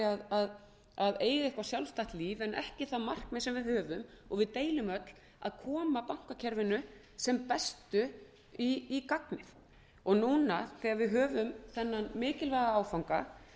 að eiga eitthvert sjálfstætt líf en ekki það markmið sem við höfum og deilum öll að koma bankakerfinu sem bestu í gagnið núna þegar við höfum þennan mikilvæga áfanga